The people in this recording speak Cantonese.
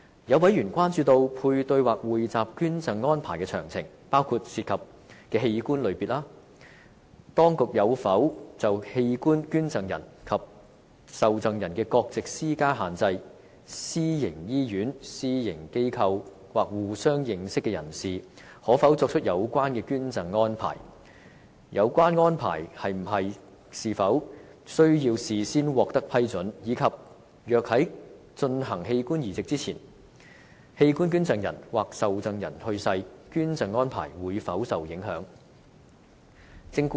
有委員關注配對或匯集捐贈安排的詳情，包括：涉及的器官類別；當局有否就器官捐贈人及受贈人的國籍施加限制；私營醫院、私營機構或互相認識的人士，可否作出有關捐贈安排；有關安排是否需要事先獲得批准；以及若在進行器官移植前，器官捐贈人或受贈人去世，捐贈安排會否受影響。